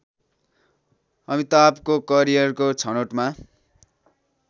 अमिताभको करियरको छनोटमा